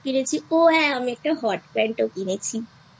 ও হ্যাঁ আমি একটা Hot pantও কিনেছিI